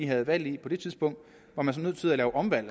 havde valget var man så nødt til at lave omvalg